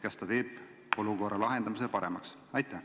Kas see teeb olukorra lahendamise paremaks?